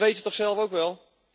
Dat weet je toch zelf ook wel.